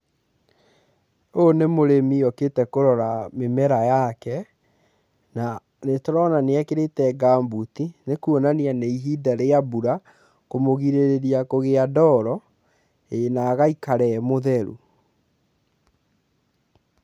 Ũyũ nĩ mũrĩmi okĩte kũrora mĩmera yake na nĩ tũrona ekĩrĩte gamubuti na nĩkuonania nĩ ihinda rĩa mbura, kũmũgirĩrĩria kũgĩa ndoro na agaikara e mũtheru.